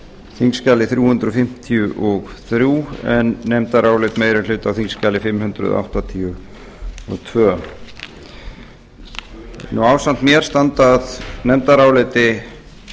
þingskjali þrjú hundruð fimmtíu og þrjú en nefndarálit meiri hluta á þingskjali fimm hundruð áttatíu og tvö ásamt mér standa að nefndaráliti